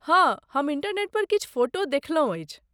हँ, हम इंटरनेट पर किछु फोटो देखलहुँ अछि।